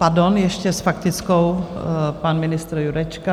Pardon, ještě s faktickou pan ministr Jurečka.